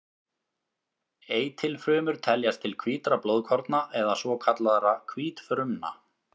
Eitilfrumur teljast til hvítra blóðkorna eða svokallaðra hvítfrumna.